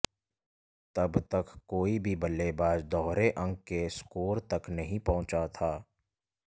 तब तक कोई भी बल्लेबाज दोहरे अंक के स्कोर तक नहीं पहुंचा था